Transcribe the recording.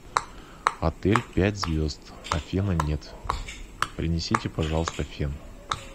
отель пять звезд а фена нет принесите пожалуйста фен